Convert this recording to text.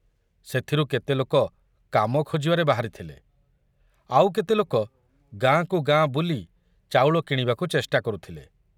ସେଥୁରୁ କେତେ ଲୋକ କାମ ଖୋଜିବାରେ ବାହାରିଥିଲେ, ଆଉ କେତେ ଲୋକ ଗାଁକୁ ଗାଁ ବୁଲି ଚାଉଳ କିଣିବାକୁ ଚେଷ୍ଟା କରୁଥିଲେ।